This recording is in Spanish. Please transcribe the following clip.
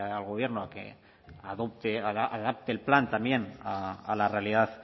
al gobierno a que adapte el plan también a la realidad